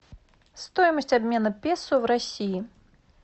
стоимость обмена песо в россии